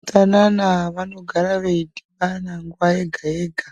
Veutsanana vanogara veidhibana nguva yega-yega